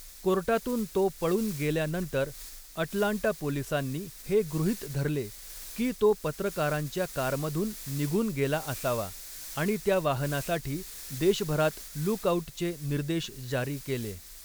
कोर्टातून तो पळून गेल्यानंतर अटलांटा पोलिसांनी हे गृहीत धरले की तो पत्रकारांच्या कारमधून निघून गेला असावा आणि त्या वाहनासाठी देशभरात 'लूक आउट'चे निर्देश जारी केले.